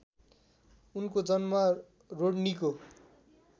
उनको जन्म रोड्नीको